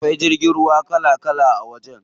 Akwai jirgin ruwa kala kala a wajen.